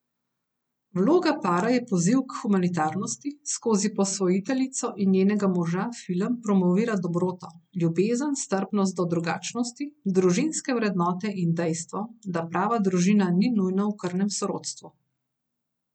Vloga para je poziv k humanitarnosti, skozi posvojiteljico in njenega moža film promovira dobroto, ljubezen, strpnost do drugačnosti, družinske vrednote in dejstvo, da prava družina ni nujno v krvnem sorodstvu.